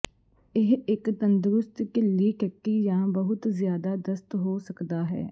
ਇਹ ਇੱਕ ਤੰਦਰੁਸਤ ਢਿੱਲੀ ਟੱਟੀ ਜਾਂ ਬਹੁਤ ਜ਼ਿਆਦਾ ਦਸਤ ਹੋ ਸਕਦਾ ਹੈ